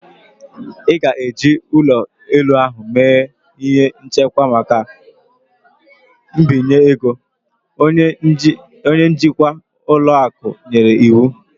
Ị ga-eji ụlọ elu ahụ mee ihe nchekwa maka mbinye ego" Onye njikwa ụlọ akụ nyere iwu